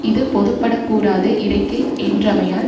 இது பொதுப்படக் கூறாது இறைக்கு என்றமையால்